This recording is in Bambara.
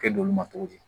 Kɛ dolo ma cogo di